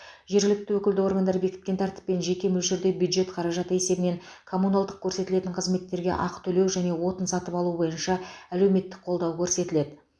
жергілікті өкілді органдар бекіткен тәртіппен және мөлшерде бюджет қаражаты есебінен коммуналдық көрсетілетін қызметтерге ақы төлеу және отын сатып алу бойынша әлеуметтік қолдау көрсетіледі